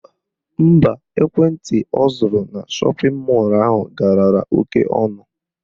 Mba, ekwentị ọ zụrụ na shọpịn mọlụ ahụ galara oke ọnụ